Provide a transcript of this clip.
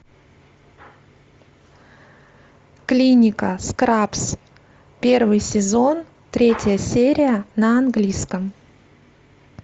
клиника скрабс первый сезон третья серия на английском